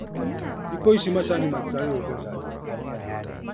Thikũ ici macani matirarĩhwo mbeca njega.